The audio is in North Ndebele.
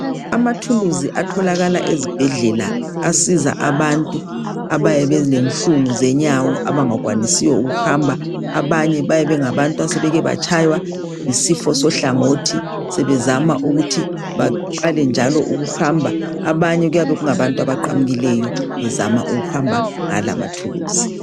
amathuluzi atholakala ezibhedlela asiza abantu abayabe belenhlungu zenyawo abangakwanisiyo ukuhamba abanye bayabe bengabantu asebeke batshwaywa yisifo sohlangothi sebezama ukuthi baqale njalo ukuhamba abanye kuyabe kungabantu abaqamukileyo bezama ukuhamba ngala amathuluzi